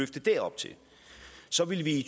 det derop så vil vi i